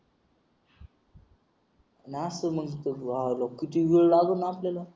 नाश्ता मग तोय किती वेळ लागेल नाश्त्याला